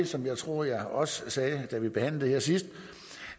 som jeg tror jeg også sagde da det behandlet sidst